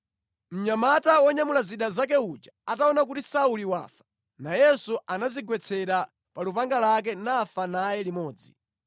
Mnyamata wonyamula zida zake uja ataona kuti Sauli wafa, nayenso anadzigwetsera pa lupanga lake nafa naye limodzi.